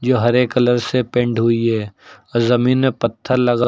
हरे colour से paint हुई है जमीन में पत्थर लगा--